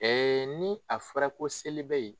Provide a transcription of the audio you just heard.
Ee ni a fɔra ko seli be yen